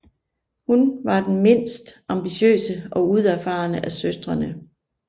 Hun var den mindst ambitiøse og udfarende af søstrene